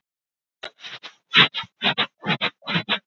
Lögreglan þekkti þá en lét þá yfirleitt afskiptalausa.